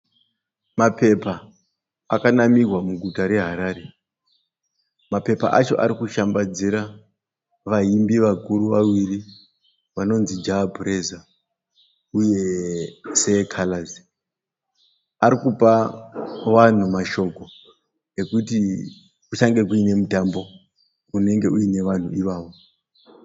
Mapepa akanamirwa muguta reHarare. Mapepa acho arikushambadzira vaimbi vakuru vaviri. Vanonzi Jar praiser uye Sir Carlas. Arikupa vanhu mashoko ekuti kuchange kuine mutambo unenge uine vanhu ivavo.